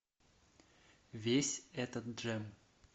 весь этот джем